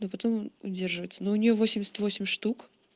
но потом удерживаться но у нее восемьдесят восемь штук